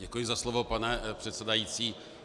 Děkuji za slovo, pane předsedající.